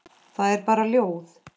Það er bara ljóð.